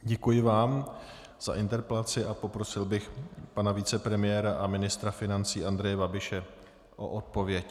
Děkuji vám za interpelaci a poprosil bych pana vicepremiéra a ministra financí Andreje Babiše o odpověď.